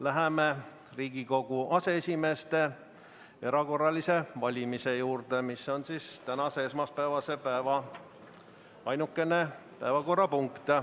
Läheme Riigikogu aseesimeeste erakorralise valimise juurde, mis on tänase, esmaspäevase päeva ainukene päevakorrapunkt.